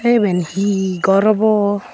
the iben he gor obo?